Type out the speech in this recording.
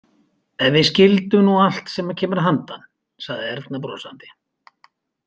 Ef við skildum nú allt sem kemur að handan, sagði Erna brosandi.